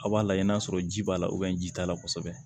Aw b'a lajɛ n'a sɔrɔ ji b'a la ji t'a la kosɛbɛ